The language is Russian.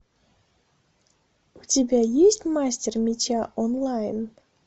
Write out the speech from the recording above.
у тебя есть мастер меча онлайн